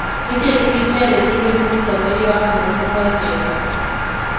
Nĩkĩ kĩngĩ kĩarĩrĩirio nĩ mũtongoria wa bururi Mwangeka?